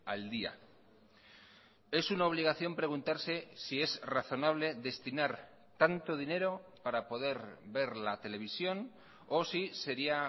al día es una obligación preguntarse si es razonable destinar tanto dinero para poder ver la televisión o si sería